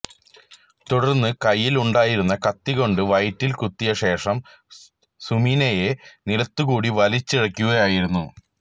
തുടര്ന്നു കൈയില് ഉണ്ടായിരുന്ന കത്തി കൊണ്ട് വയറ്റില് കുത്തിയ ശേഷം സുമിനയെ നിലത്തുകൂടി വലിച്ചിഴയ്ക്കുകയായിരുന്നു